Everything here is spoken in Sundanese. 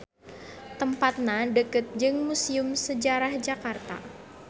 Tempatna deukeut jeung Musium Sejarah Jakarta.